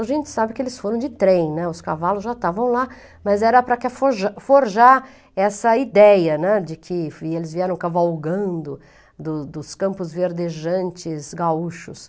A gente sabe que eles foram de trem, né, os cavalos já estavam lá, mas era para forja forjar essa ideia de que eles vieram cavalgando dos dos campos verdejantes gaúchos.